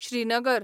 Srinagar